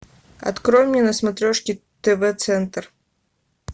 открой мне на смотрешке тв центр